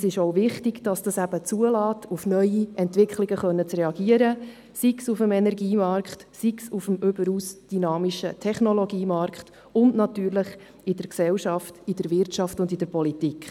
Es ist auch wichtig, dass damit ermöglicht wird, auf die neuen Entwicklungen zu reagieren, sei es auf dem Energiemarkt oder auf dem überaus dynamischen Technologiemarkt – und natürlich in der Gesellschaft, in der Wirtschaft und in der Politik.